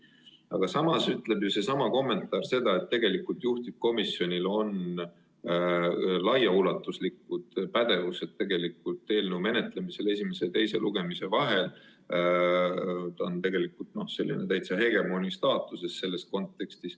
Aga samas ütleb ju sellesama kommentaar seda, et tegelikult on juhtivkomisjonil laiaulatuslik pädevus eelnõu menetlemisel esimese ja teise lugemise vahel, ta on selles kontekstis tegelikult täitsa hegemooni staatuses.